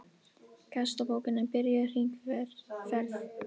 Gestabókin er byrjuð hringferð.